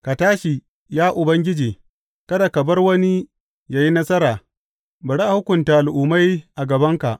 Ka tashi, ya Ubangiji, kada ka bar wani yă yi nasara; bari a hukunta al’ummai a gabanka.